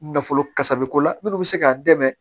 Nafolo kasa bɛ ko la minnu bɛ se k'a dɛmɛ